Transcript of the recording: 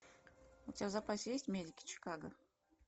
у тебя в запасе есть медики чикаго